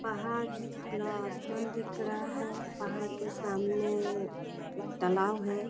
पहाड़ है। खुला आसमान दिख रहा है। पहाड़ के सामने एक तालाब है।